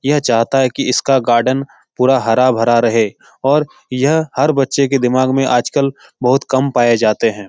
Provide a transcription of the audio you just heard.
यह चाहता है की इसका गार्डन पूरा हरा-भरा रहे और यह हर बच्चे के दिमाग में आजकल बहुत काम पाए जाते है।